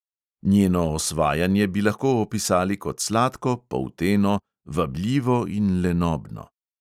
Njeno osvajanje bi lahko opisali kot sladko, polteno, vabljivo in lenobno.